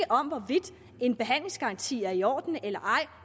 om hvorvidt en behandlingsgaranti er i orden eller ej